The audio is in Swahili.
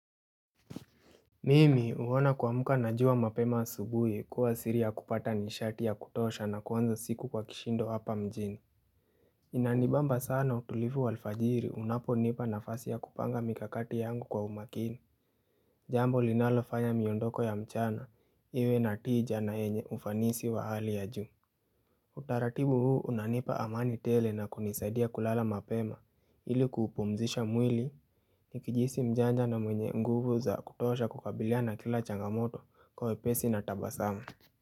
Mimi huona kuamka na jua mapema asubuhi kuwa siri ya kupata nishati ya kutosha na kuanza siku kwa kishindo hapa mjini Inanibamba sana utulivu wa alfajiri unaponipa nafasi ya kupanga mikakati yangu kwa umakini Jambo linalofanya miondoko ya mchana iwe na tija na yenye ufanisi wa hali ya juu Utaratibu huu unanipa amani tele na kunisaidia kulala mapema ili kuupumzisha mwili Nikijihisi mjanja na mwenye nguvu za kutosha kukabiliana na kila changamoto kwa wepesi na tabasamu.